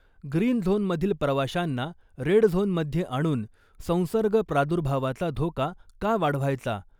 Green zone मधील प्रवाशांना red zone मध्ये आणून संसर्ग प्रादुर्भावाचा धोका का वाढवायचा ?